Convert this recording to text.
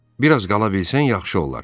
Bir az qala bilsən, yaxşı olar.